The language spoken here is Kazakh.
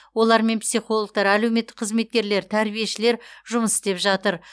олармен психологтар әлеуметтік қызметкерлер тәрбиешілер жұмыс істеп жатыр